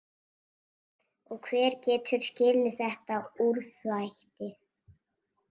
Og hver getur skilið þetta úrþvætti?